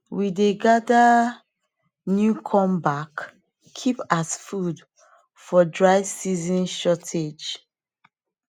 we dey gather um new corn back keep as food for dry season shortage